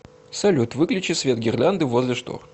салют выключи свет гирлянды возле штор